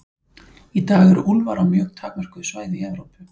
Í dag eru úlfar á mjög takmörkuðu svæði í Evrópu.